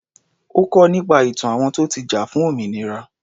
Ó kọ́ nípa ìtàn àwọn tó ti jà fún òmìnira.